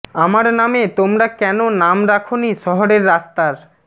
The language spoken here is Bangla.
আমার নামে তোমরা কেন নাম রাখো নি শহরের রাস্তার